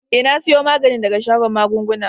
Eh, na siyo maganin daga shagon magunguna.